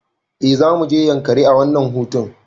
Eh zamuje yankari a wannan hutun